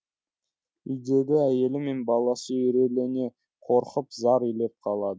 үйдегі әйелі мен баласы үрейлене қорқып зар илеп қалады